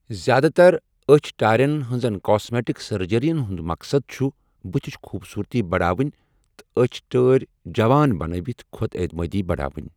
زِیٛادٕ تَر أچھ ٹارٮ۪ن ہنزن کاسمیٹک سرجریَن ہُنٛد مقصد چھُ بٔتھِچ خوٗبصورتی بڑاوٕنہِ تہٕ أچھ ٹٲرۍ جوان بنٲوِتھ خۄد اعتِمٲدی بڑاوٕنۍ ۔